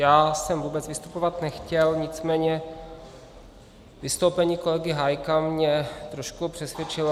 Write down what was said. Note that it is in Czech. Já jsem vůbec vystupovat nechtěl, nicméně vystoupení kolegy Hájka mě trošku přesvědčilo.